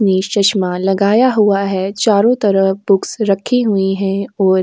नीस चश्मा लगाया हुआ है। चारो तरफ बुक्स रखी हुईं हैं और --